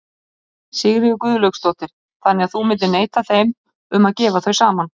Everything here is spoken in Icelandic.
Sigríður Guðlaugsdóttir: Þannig að þú myndir neita þeim um að gefa þau saman?